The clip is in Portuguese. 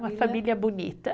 Uma família bonita.